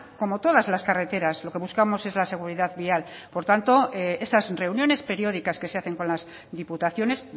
como todas las carreteras lo que buscamos es la seguridad vial por tanto esas reuniones periódicas que se hacen con las diputaciones